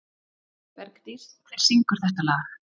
Bergdís, hver syngur þetta lag?